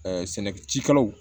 sɛnɛkɛ cikɛlaw